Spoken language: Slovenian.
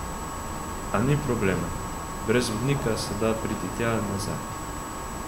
A ni problema, brez vodnika se da priti tja in nazaj.